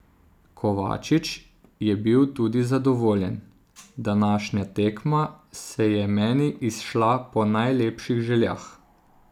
Kovačič je bil tudi zadovoljen: "Današnja tekma se je meni izšla po najlepših željah.